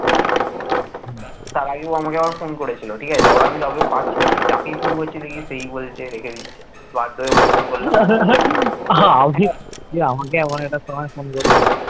তুই আমাকে এমন একটা সময় phone করেছিস?